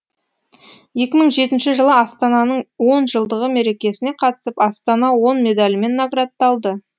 екі мың жетінші жылы астананың он жылдығы мерекесіне қатысып астана он медалімен наградталды